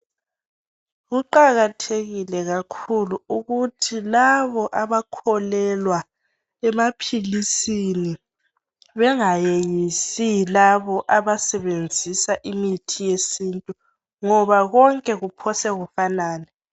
Kuqakathekile kakhulu ukuthi labo Abakholelwa emaphilisini Bengayeyisi labo abasebenzisa imithi yesintu ngoba konke kuphosa kufanane